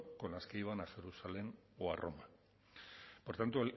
con las que iban a jerusalén o a roma por tanto